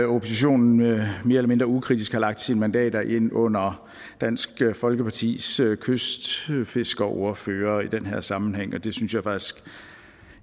oppositionen mere eller mindre ukritisk har lagt sine mandater ind under dansk folkepartis kystfiskeriordfører i den her sammenhæng og det synes jeg faktisk